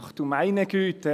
Ach du meine Güte!